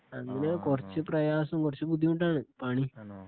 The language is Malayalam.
അതില് കുറച് പ്രയാസം കുറച്ചു ബുദ്ധിമുട്ടാണ് പണി